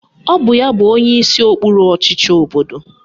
Ọ bụ ya bụ onyeisi okpuru ọchịchị obodo ya.